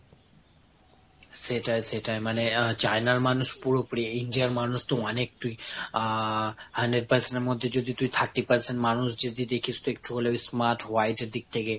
সেটাই সেটাই মানে China র মানুষ পুরোপুরি। India র মানুষ তো অনেকই আহ hundred percent এর মধ্যে যদি তুই thirty percent মানুষ যদি দেখিস তো একটু হলেও smart white এর দিক থেকে।